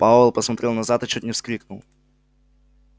пауэлл посмотрел назад и чуть не вскрикнул